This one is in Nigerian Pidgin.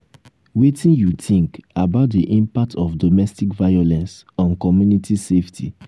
wetin you think about di impact of domestic violence on community safety?